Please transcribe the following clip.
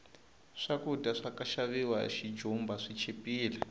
swakudya swaka xaviwa hi xijumba swi chipile